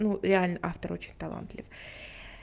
ну реально автор очень талантлив